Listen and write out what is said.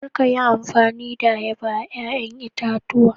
Kar ki yi amfani da ayaba a ruwan ƴa'ƴan itatuwa.